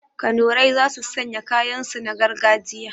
Kanurai za su sanya kayan su na gargajiya